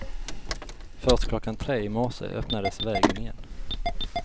Först klockan tre i morse öppnades vägen igen.